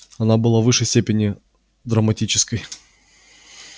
она была в высшей степени драматической